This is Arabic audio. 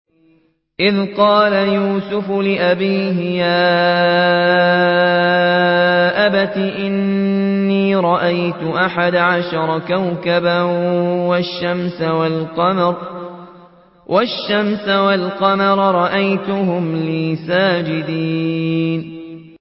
إِذْ قَالَ يُوسُفُ لِأَبِيهِ يَا أَبَتِ إِنِّي رَأَيْتُ أَحَدَ عَشَرَ كَوْكَبًا وَالشَّمْسَ وَالْقَمَرَ رَأَيْتُهُمْ لِي سَاجِدِينَ